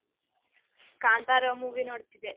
Kantara movie ನೋಡ್ತಿದ್ದೆ.